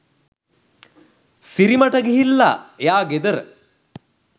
සිරිමටගිල්ල එයා ගෙදර